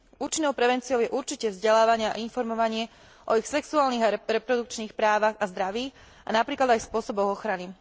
Účinnou prevenciou je určite vzdelávanie a informovanie o ich sexuálnych a reprodukčných právach a zdraví a napríklad aj spôsoboch ochrany.